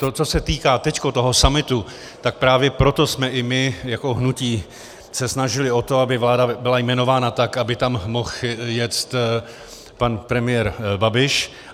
To, co se týká teď toho summitu, tak právě proto jsme i my jako hnutí se snažili o to, aby vláda byla jmenována tak, aby tam mohl jet pan premiér Babiš.